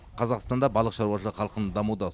қазақстанда балық шаруашылығы қарқынды дамуда